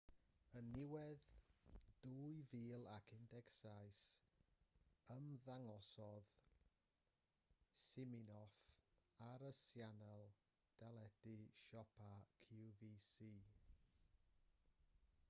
yn niwedd 2017 ymddangosodd siminoff ar y sianel deledu siopa qvc